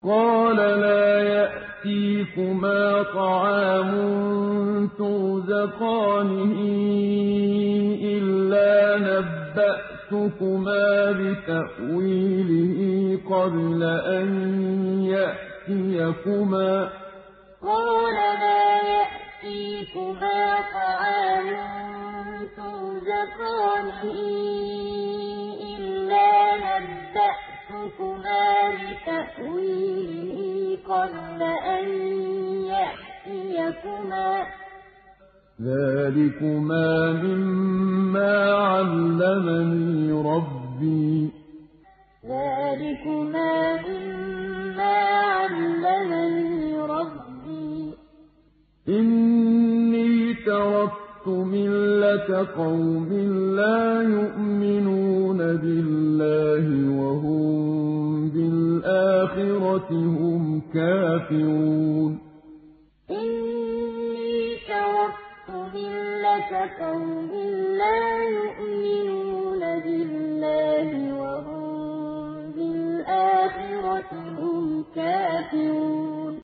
قَالَ لَا يَأْتِيكُمَا طَعَامٌ تُرْزَقَانِهِ إِلَّا نَبَّأْتُكُمَا بِتَأْوِيلِهِ قَبْلَ أَن يَأْتِيَكُمَا ۚ ذَٰلِكُمَا مِمَّا عَلَّمَنِي رَبِّي ۚ إِنِّي تَرَكْتُ مِلَّةَ قَوْمٍ لَّا يُؤْمِنُونَ بِاللَّهِ وَهُم بِالْآخِرَةِ هُمْ كَافِرُونَ قَالَ لَا يَأْتِيكُمَا طَعَامٌ تُرْزَقَانِهِ إِلَّا نَبَّأْتُكُمَا بِتَأْوِيلِهِ قَبْلَ أَن يَأْتِيَكُمَا ۚ ذَٰلِكُمَا مِمَّا عَلَّمَنِي رَبِّي ۚ إِنِّي تَرَكْتُ مِلَّةَ قَوْمٍ لَّا يُؤْمِنُونَ بِاللَّهِ وَهُم بِالْآخِرَةِ هُمْ كَافِرُونَ